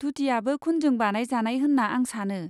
धुतियाबो खुनजों बानायजानाय होन्ना आं सानो।